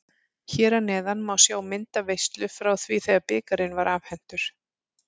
Hér að neðan má sjá myndaveislu frá því þegar bikarinn var afhentur.